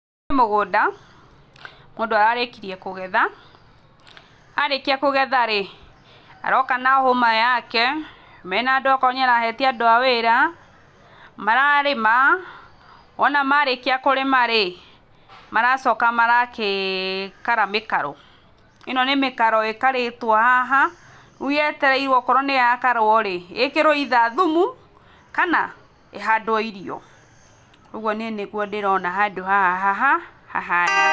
Ũyũ nĩ mũgũnda, mũndũ ararĩkirie kũgetha, arĩkia kũgetha-rĩ aroka na hũma yake, mena andũ okorwo nĩarahete andũ a wĩra, mararĩma, wona marĩkia kũrĩma-rĩ, maracoka marakikara mĩkaro. ĩno nĩ mĩkaro ĩkarĩtwo haha, rĩu yetereirwo okorwo nĩyakarwo-rĩ ĩkĩrwo either thumu, kana ĩhandwo irio. ũguo niĩ nĩguo ndĩrona handũ haha hahana.